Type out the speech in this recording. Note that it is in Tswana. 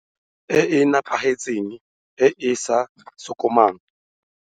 E e nepagetseng e e sa sokamang.